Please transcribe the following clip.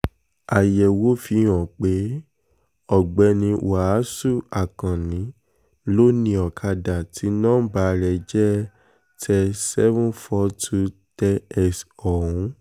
àyẹ̀wò fihàn pé ọ̀gbẹ́ni wàásù akànnì ló ni ọ̀kadà tí nọmba rẹ̀ jẹ́ ter seven hundred forty two tx ọ̀hún